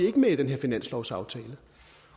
ikke med i den her finanslovsaftale